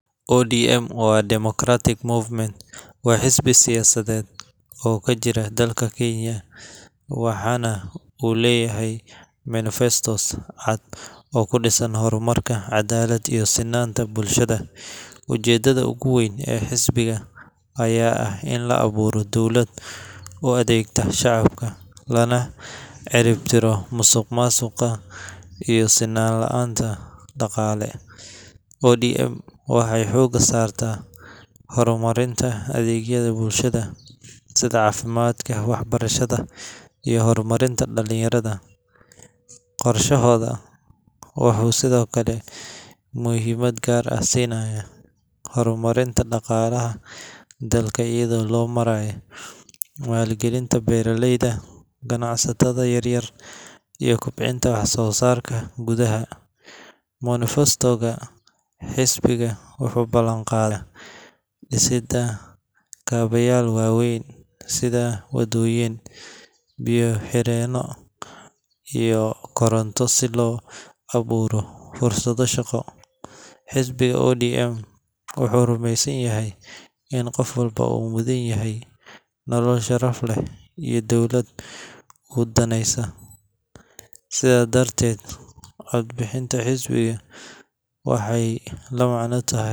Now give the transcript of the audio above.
ODM Orange Democratic Movement waa xisbi siyaasadeed oo ka jira dalka Kenya, waxaana uu leeyahay manifesto cad oo ku dhisan horumar, cadaalad, iyo sinnaanta bulshada. Ujeeddada ugu weyn ee xisbiga ayaa ah in la abuuro dowlad u adeegta shacabka, lana ciribtiro musuqmaasuqa iyo sinaan la’aanta dhaqaale. ODM waxay xoogga saartaa horumarinta adeegyada bulshada sida caafimaadka, waxbarashada, iyo horumarinta dhallinyarada. Qorshahooda wuxuu sidoo kale muhiimad gaar ah siinaa horumarinta dhaqaalaha dalka iyada oo loo marayo maalgelinta beeraleyda, ganacsatada yaryar, iyo kobcinta wax soo saarka gudaha. Manifesto-ga xisbiga wuxuu ballanqaadayaa dhisidda kaabayaal waaweyn sida waddooyin, biyo-xireeno, iyo koronto si loo abuuro fursado shaqo. Xisbiga ODM wuxuu rumeysan yahay in qof walba uu mudan yahay nolol sharaf leh iyo dowlad u daneysa. Sidaa darteed, cod bixinta xisbiga waxay la macno tahay